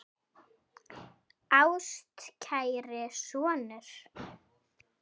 Ástkæri sonur